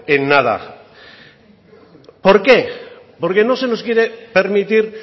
en nada por qué porque no se nos quiere permitir